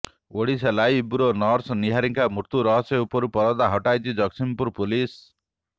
Odisha live bureau nurse Niharika ମୃତ୍ୟୁ ରହସ୍ୟ ଉପରୁ ପରଦା ହଟାଇଛି ଜଗତ୍ସିଂହପୁର ପୋଲିସ